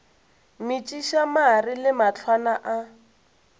metšiša mare le mahlwana a